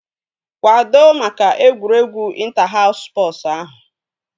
Kwado maka egwuregwu ịnta haus spọsu ahụ!